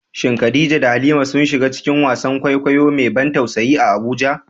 Shin Khadija da Halima sun shiga cikin wasan kwaikwayo mai ban tausayi a Abuja?